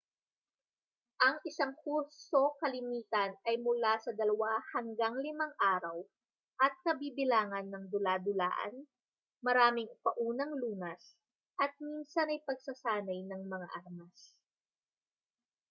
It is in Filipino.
ang isang kurso kalimitan ay mula sa 2-5 araw at kabibilangan ng dula-dulaan maraming paunang lunas at minsan ay pagsasanay ng mga armas